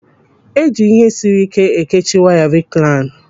Eji ihe siri ike ekechi waya riklain.